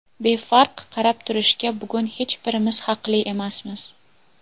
Befarq qarab turishga bugun hech birimiz haqli emasmiz.